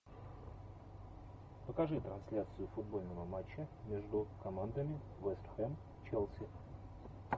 покажи трансляцию футбольного матча между командами вест хэм челси